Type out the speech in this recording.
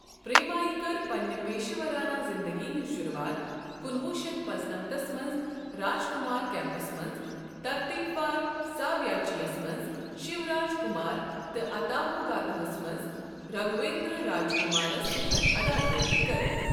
پریمایہِ کٔر پننہِ پیشورانہٕ زِندگی ہنز شروعات کُنہٕ وُہ شتھ پانٛژنمتس منٛز راجکمار کیمپَس منٛز، ترتیٖبوار 'ساویاسچی' یَس منٛز شیوراج کمار تہٕ 'آتا ہدوگاتا'ہس منٛز راگھویندر راجکمارَس سۭتۍ اداکٲری كٔرِتھ ۔